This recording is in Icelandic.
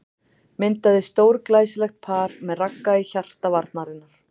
Myndaði stórglæsilegt par með Ragga í hjarta varnarinnar.